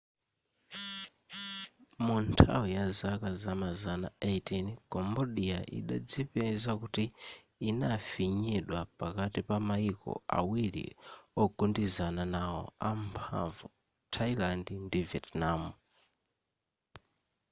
munthawi yazaka zamazana 18 cambodia idadzipeza kuti inafinyidwa pakati pa mayiko awiri ogundizana nawo amphamvu thailand ndi vietnam